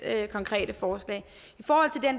konkrete forslag